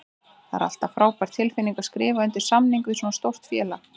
Það er alltaf frábær tilfinning að skrifa undir samning við svona stórt félag.